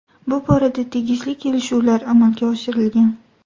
Bu borada tegishli kelishuvlar amalga oshirilgan.